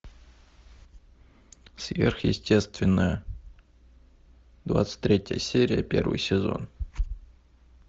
сверхъестественное двадцать третья серия первый сезон